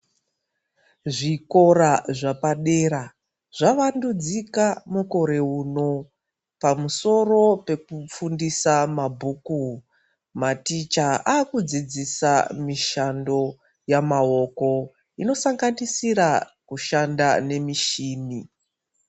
Zvikora zvepadera zvavandudzika mukore uno pamusoro pekufundisa mabhuku maticha akudzidzisa mushando yamaoko inosanganisira kushanda nemichini.